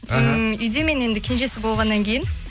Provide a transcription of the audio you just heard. аха үйде мен енді кенжесі болғаннан кейін